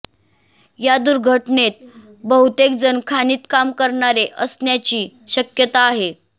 या दुर्घटनेत बहुतेक जण खाणीत काम करणारे असण्याची शक्यता आहे